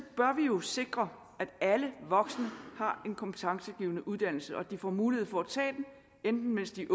bør vi jo sikre at alle voksne har en kompetencegivende uddannelse og at de får mulighed for at tage den enten mens de